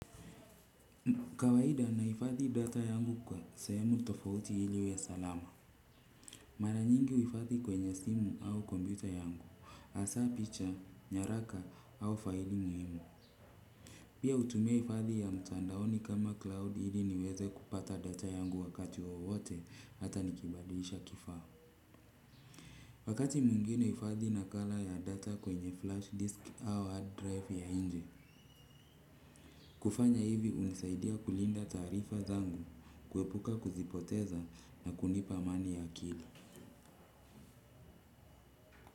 Kawaida nahifadhi data yangu kwa sehemu tofauti ili iwe salama. Mara nyingi huhifadhi kwenye simu au kompyuta yangu, hasa picha, nyaraka au faili muhimu. Pia hutumia hifadhi ya mtandaoni kama cloud ili niweze kupata data yangu wakati wowote hata nikibadilisha kifaa. Wakatu mwingine huhifadhi nakala ya data kwenye flash disc au hard drive ya nje. Kufanya hivi hunisaidia kulinda taarifa zangu, kuepuka kuzipoteza na kunipa amani ya akili.